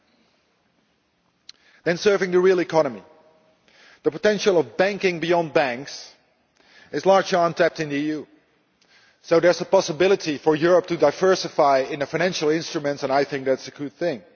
As regards serving the real economy, the potential of banking beyond banks is largely untapped in the EU, so there is a possibility for Europe to diversify in financial instruments, and I think that is a good thing.